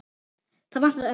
Það vantaði ömmu.